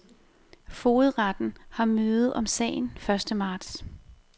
Fogedretten har møde om sagen første marts.